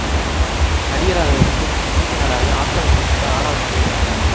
நடிகராக இருந்து பின் இயக்குனராகி ஆஸ்கார் விருது வென்ற ஆறாவது நடிகராவார்